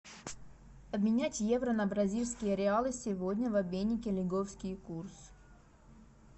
обменять евро на бразильские реалы сегодня в обменнике лиговский курс